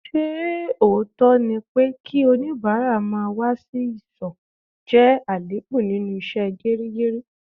Ṣé òótọ́ ni pé kí onibara má wá sí ìsò jẹ́ àléébù nínú ìṣe geri geri?